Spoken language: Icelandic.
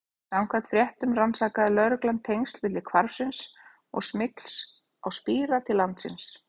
Samkvæmt fréttum rannsakaði lögreglan tengsl milli hvarfsins og smygls á spíra til landsins.